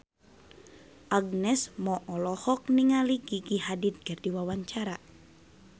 Agnes Mo olohok ningali Gigi Hadid keur diwawancara